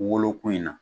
Woloko in na